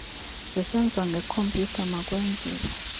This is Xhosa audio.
zisenziwa ngekhompyutha makwenziwe